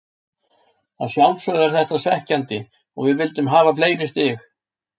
Að sjálfsögðu er þetta svekkjandi og við vildum hafa fleiri stig.